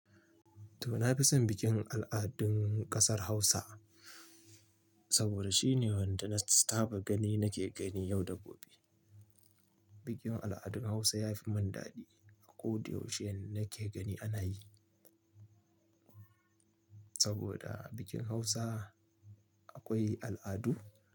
To, na fi son bikin al'adun ƙasar Hausa saboda shine wanda na taba gani nake gani yau da gobe. Bikin al'adun Hausa ya fi mun dadi a ko da yaushe nake gani ana yi saboda a bikin Hausa akwai al'adu.